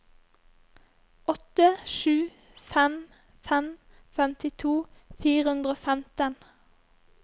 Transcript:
åtte sju fem fem femtito fire hundre og femten